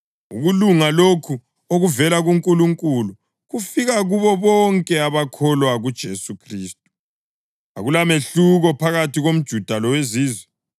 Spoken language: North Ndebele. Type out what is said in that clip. Ukulunga lokhu okuvela kuNkulunkulu kufika kubo bonke abakholwa kuJesu Khristu. Akulamehluko phakathi komJuda loweZizwe,